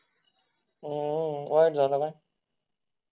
वाईट झाला ना